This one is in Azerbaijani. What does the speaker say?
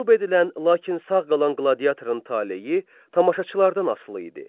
Məğlub edilən, lakin sağ qalan qladiatörun taleyi tamaşaçılardan asılı idi.